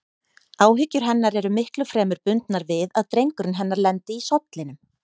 Áhyggjur hennar eru miklu fremur bundnar við að drengurinn hennar lendi í sollinum.